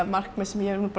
markmið sem ég hef